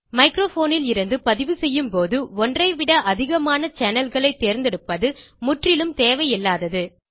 microphone லிருந்து பதிவு செய்யும்போது ஒன்றைவிட அதிகமான channelகளை தேர்ந்தெடுப்பது முற்றிலும் தேவையில்லாதது